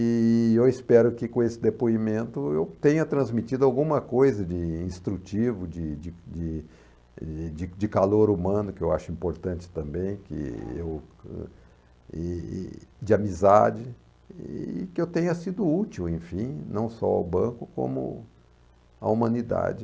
E eu espero que com esse depoimento eu tenha transmitido alguma coisa de instrutivo, de de de de de calor humano, que eu acho importante também, que eu e e de amizade, e que eu tenha sido útil, enfim, não só ao banco, como à humanidade.